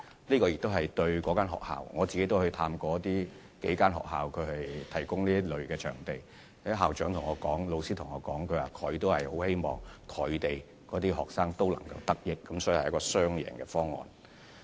我也曾探訪過數間提供這類場地的學校，這些學校的校長和老師向我表示，他們也希望學生可以得益，所以這是一個雙贏方案。